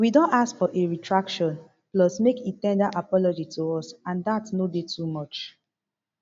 we don ask for a retraction plus make e ten der apology to us and dat no dey too much